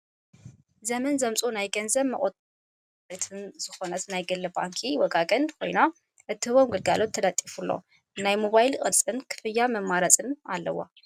ዘመን ዘምፆ ናይ ገንዘብ መቆጠቢ ባንክታት ሓንቲን ተወዳዳሪትን ዝኮነት ናይ ግሊ ባንኪ ወጋገን ኮይና እትህቦም ግልጋሎታት ተለጢፉላ ናይ ሞባይል ቅርፅን ክፍያታት መማረፂን ኣለዋ።